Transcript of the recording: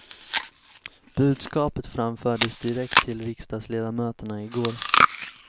Budskapet framfördes direkt till riksdagsledamöterna igår.